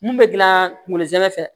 Mun bɛ dilan kungolo zɛmɛ fɛ